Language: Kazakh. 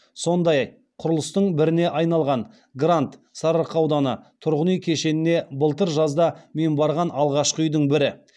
сондаи құрылыстың біріне аи налған грант тұрғын үи кешеніне былтыр жазда мен барған алғашқы үи дің бірі